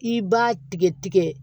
I b'a tigɛ tigɛ